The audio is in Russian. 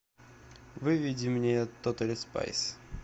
выведи мне тотали спайс